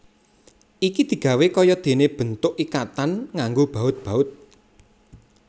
Iki digawé kaya dene bentuk ikatan nganggo baut baut